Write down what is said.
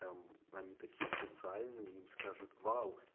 там они такие социальные им скажут вау